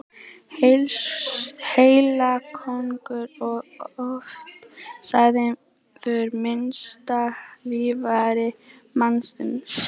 Heilaköngull er oft sagður minnsta líffæri mannsins.